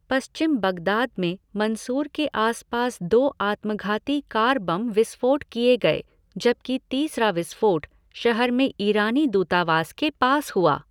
पश्चिम Baghdad में Mansour के आस पास दो आत्मघाती कार बम विस्फोट किए गए, जबकि तीसरा विस्फोट शहर में ईरानी दूतावास के पास हुआ।